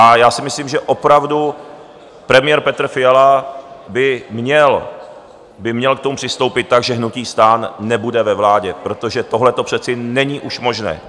A já si myslím, že opravdu premiér Petr Fiala by měl k tomu přistoupit tak, že hnutí STAN nebude ve vládě, protože tohleto přece není už možné.